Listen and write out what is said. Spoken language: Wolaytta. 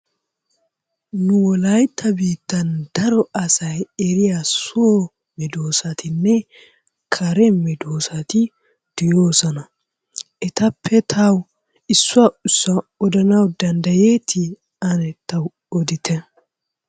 Nu wolaytta biittaan daro asay eriya soo meddoossatinne kare meeddoosati de'oosona. Etappe tawu issuwa issuwa odanawu danddayeetti sne tawu oddite.